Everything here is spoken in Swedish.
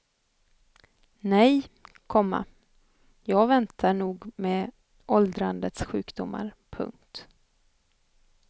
Nej, komma jag väntar nog med åldrandets sjukdomar. punkt